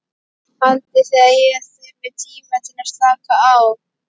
Haldið þið að ég þurfi tíma til að slaka á?